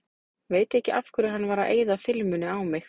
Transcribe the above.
Veit ekki af hverju hann var að eyða filmunni á mig.